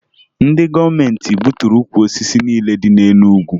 Ndị gọọmenti gbuturu ukwu osisi niile dị na Enugwu